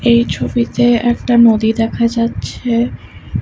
এই ছবিতে একটা নদী দেখা যাচ্ছে।